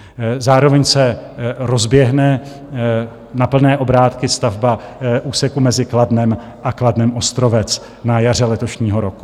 Zároveň se rozběhne na plné obrátky stavba úseku mezi Kladnem a Kladnem-Ostrovec na jaře letošního roku.